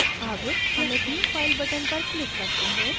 अब commit new file button पर click करते हैं